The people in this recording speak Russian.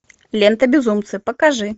лента безумцы покажи